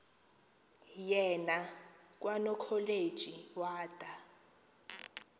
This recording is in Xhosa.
yena kwanokholeji wada